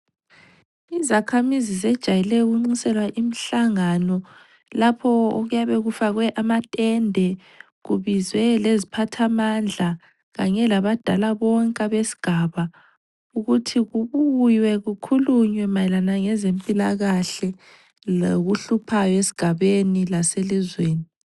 Izakhamizi zijayele ukunxuselwa imihlangano lapho okuyabe kufakwe amatende kubizwe leziphathamandla kanye labadala bonke abesigaba ukuthi kubuywe kukhulunywe mayelana ngezempilakahle lokuhluphayo esigabeni laselizweni.